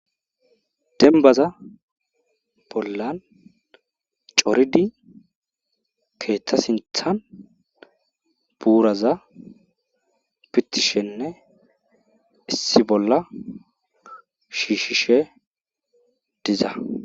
Dembbaza bolla coridi keeththa sinththan buuraza pitishenne issi bolla shiishishe diza .